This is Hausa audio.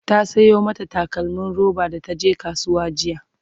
ta Sayo mata takalmim roba da taje kasuwa jiya